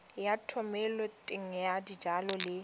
ya thomeloteng ya dijalo le